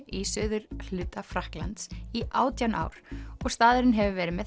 í suðurhluta Frakklands í átján ár og staðurinn hefur verið með